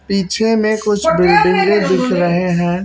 पीछे में कुछ बिल्डिंगे दिख रहे हैं।